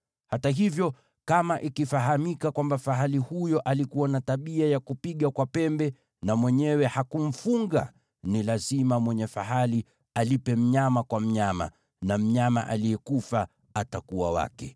Hata hivyo, kama ikifahamika kwamba fahali huyo alikuwa na tabia ya kupiga kwa pembe na mwenyewe hakumfunga, ni lazima mwenye fahali alipe mnyama kwa mnyama, na mnyama aliyekufa atakuwa wake.